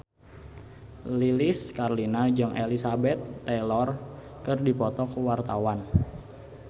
Lilis Karlina jeung Elizabeth Taylor keur dipoto ku wartawan